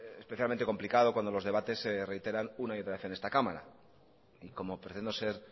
especialmente complicado cuando los debates se reiteran una y otra vez en esta cámara y como pretendo ser